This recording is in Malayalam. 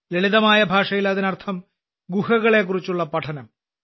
ലളിതമായ ഭാഷയിൽ അതിനർത്ഥം ഗുഹകളെക്കുറിച്ചുള്ള പഠനം